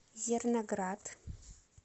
зерноград